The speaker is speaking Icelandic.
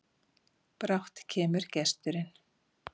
Brátt kemur gesturinn,